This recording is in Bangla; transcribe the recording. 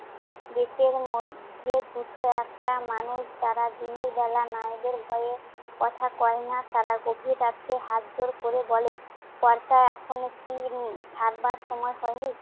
দেশের মধ্যে দুটো একটা মানুষ যারা দিনের বেলা মায়েদের ভয়ে কথা কয় না। তারা গভীর রাত্রে হাতজোড় করে বলে, কর্তা এখনো কি উম ছাড়বার সময় হয়নি?